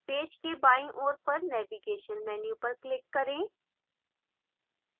page के बायीं ओर पर navigation menu पर click करें